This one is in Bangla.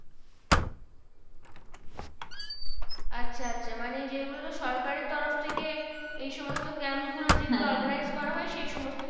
আচ্ছা আচ্ছা মানে যেগুলো তোর সরকারের তরফ থেকে এই সমস্ত camp গুলো যেগুলো organize করা হয় সেই সমস্ত,